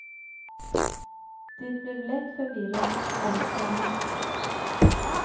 Det blev lätt förvirrat, ärligt talat.